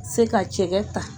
Se ka cɛkɛ ta